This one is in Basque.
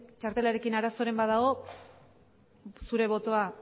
txartelarekin arazoren bat dago zure botoa